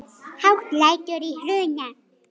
Hátt lætur í Hruna